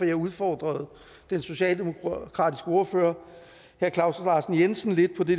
jeg udfordrede den socialdemokratiske ordfører herre claus larsen jensen lidt på det